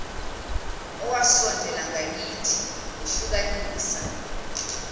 owasondela ngakithi wehlukanisa